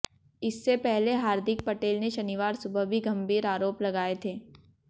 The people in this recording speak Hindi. इससे पहले हार्दिक पटेल ने शनिवार सुबह भी गंभीर आरोप लगाए थे